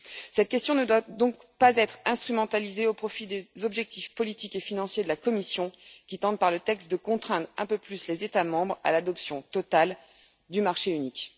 Cette question ne doit donc pas être instrumentalisée au profit des objectifs politiques et financiers de la Commission, qui tente par le texte de contraindre un peu plus les États membres à l'adoption totale du marché unique.